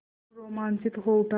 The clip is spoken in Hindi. मोरू रोमांचित हो उठा